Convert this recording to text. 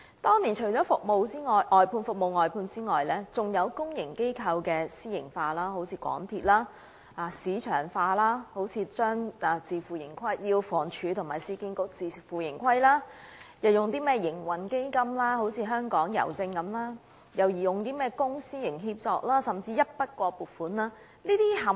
當年，除了服務外判外，還有公營機構私營化，香港鐵路有限公司是一例；推行市場化，如要求房屋署和市區重建局自負盈虧；設立營運基金，如香港郵政；推出公私營協作安排，甚至是一筆過撥款等。